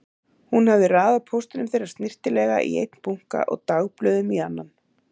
Hún hafði raðað póstinum þeirra snyrtilega í einn bunka og dagblöðum í annan.